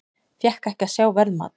Fékk ekki að sjá verðmat